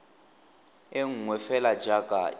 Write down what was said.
e nngwe fela jaaka e